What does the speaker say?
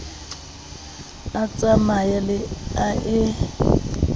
a tsamaye le a e